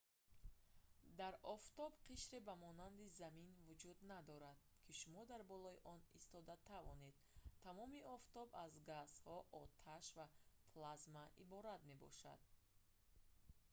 дар офтоб қишре ба монанди замин вуҷуд надорад ки шумо дар болои он истода тавонед тамоми офтоб аз газҳо оташ ва плазма иборат мебошад